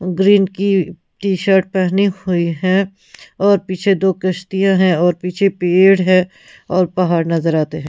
Green की T-shirt पहनी हुई है और पीछे दो कश्तियां हैं और पीछे पेड़ है और पहाड़ नजर आते हैं।